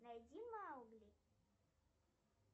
найди маугли